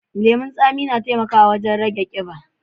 Lemun tsami na taimakawa wajen rage ƙiba.